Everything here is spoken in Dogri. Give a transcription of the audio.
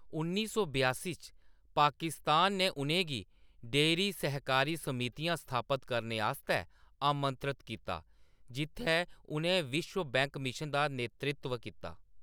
उन्नी सौ बास्सी च, पाकिस्तान ने उʼनें गी डेयरी सैहकारी समितियां स्थापत करने आस्तै आमंत्रत कीता, जित्थै उʼनें विश्व बैंक मिशन दा नेतृत्व कीता।